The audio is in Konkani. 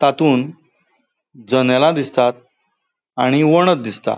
तांतुन जन्येला दिसतात आणि वणद दिसता.